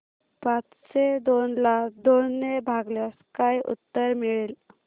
पाचशे दोन ला दोन ने भागल्यास काय उत्तर मिळेल